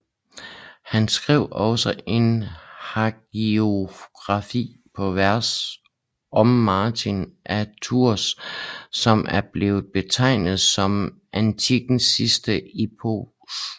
Han skrev også en hagiografi på vers om Martin af Tours som er blevet betegnet som antikkens sidste epos